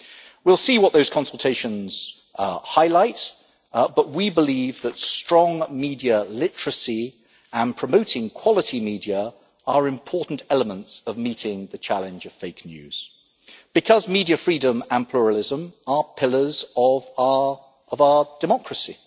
We will see what those consultations highlight, but we believe that strong media literacy and promoting quality media are important elements of meeting the challenge of fake news, because media freedom and pluralism are pillars of our of our democracy.